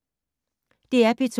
DR P2